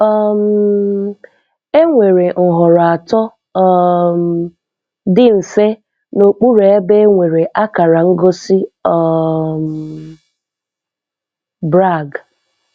um Émwere nhọrọ atọ um dị mfe n'okpuru ebe e nwere akara ngosi um Brag..